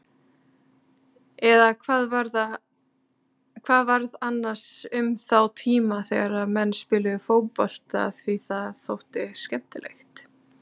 Eða hvað varð annars um þá tíma þegar menn spiluðu fótbolta því það þótti skemmtilegt?